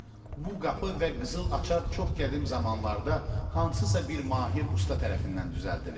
Bu qapı və qızıl açar çox qədim zamanlarda hansısa bir mahir usta tərəfindən düzəldilib.